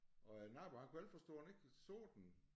Og æ nabo han kunne ikke forstå at han ikke så den